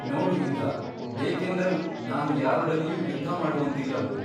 ನೋಡು ಇಂದ್ರ ಬೇಕೆಂದರೂ ನಾನು ಯಾರೊಡನೆಯೂ ಯುದ್ಧಮಾಡುವಂತಿಲ್ಲವೋ?